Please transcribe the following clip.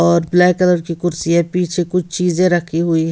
और black colour की कुर्सी है पीछे कुछ चीजें रखी हुई--